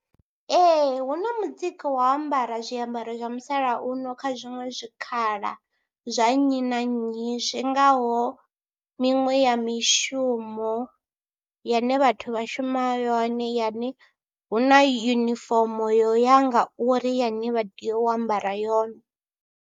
Ee hu na mutsiko wa ambara zwiambaro zwa musalauno kha zwiṅwe zwikhala zwa nnyi na nnyi zwi ngaho miṅwe ya mishumo yane vhathu vha shuma yone yane hu na yunifomo yo ya ngauri yane vha tea u ambara yone.